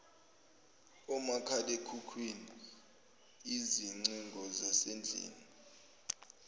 omakhalekhukhwini izingcingo zasendlini